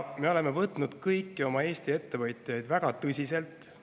Me oleme võtnud kõiki Eesti ettevõtjaid väga tõsiselt.